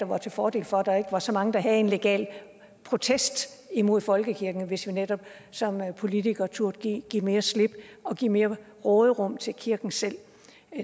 var til fordel for at der ikke var så mange der havde en legal protest imod folkekirken hvis vi netop som politikere turde give mere slip og give mere råderum til kirken selv